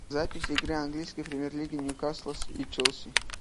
запись игры английской премьер лиги ньюкасла и челси